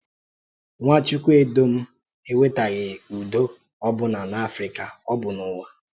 Nwàchùkwùèndòm ewètèghị ùdò ọ̀bụ̀nà um n’Áfrịkà, ọ bụ n’ụ̀wà.